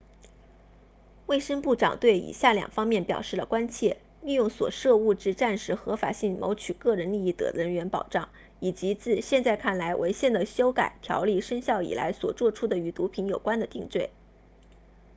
卫生部长对以下两方面表示了关切利用所涉物质暂时合法性谋取个人利益的人员保障以及自现在看来违宪的修改条例生效以来所作出的与毒品有关的定罪